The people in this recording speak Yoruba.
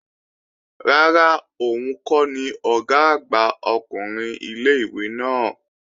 Rárá, òun kọ́ ni Ọ̀gá àgbà ọkùnrin ilé-ìwé náà